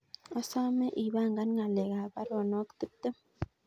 Asome ipangan ngalek ab baruonok tiptem